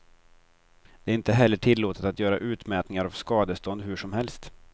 Det är inte heller tillåtet att göra utmätningar av skadestånd hur som helst.